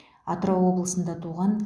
атырау облысында туған